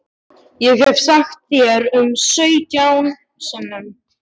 Ég hef sagt þér það sautján sinnum.